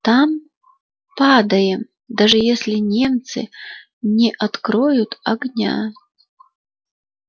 там падаем даже если немцы не откроют огня